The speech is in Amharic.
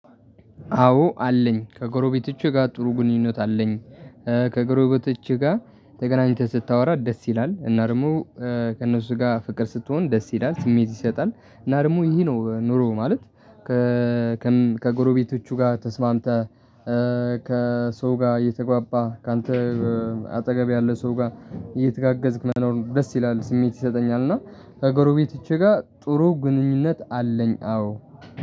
አዎ አለኝ ከጎሮቤቶቼ ጋር ጥሩ ግንኙነት አለኝ። ከጎሮቤቶቼ ጋር ተገናኝተህ ስታወራ ደስ ይላል እና ደግሞ ከእነሱ ጋር ፍቅር ስትሆን ደስ ይላል ስሜት ይሰጣል እና ደግሞ ይሄ ነው ኑሮ ማለት። ከም ከጎረቤቶቹ ጋር ተስማምተህ ከሰው ጋር እየተግባባህ ካንተ አጠገብ ያለ ሰው ጋር እየተጋገዝክ መኖር ደስ ይላል ስሜት ይሰጠኛል። እና ከጎሮቤቶቼ ጋር ጥሩ ግንኙነት አለኝ አዎ